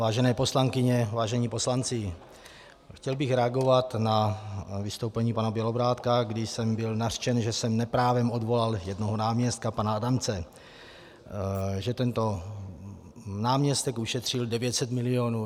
Vážené poslankyně, vážení poslanci, chtěl bych reagovat na vystoupení pana Bělobrádka, když jsem byl nařčen, že jsem neprávem odvolal jednoho náměstka, pana Adamce, že tento náměstek ušetřil 900 milionů.